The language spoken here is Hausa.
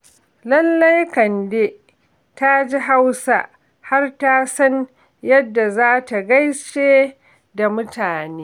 Lallai Kande ta ji Hausa, har ta san yadda za ta gaishe da mutane.